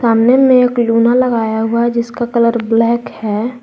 सामने में एक लूना लगाया हुआ है जिसका कलर ब्लैक है।